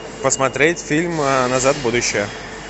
посмотреть фильм назад в будущее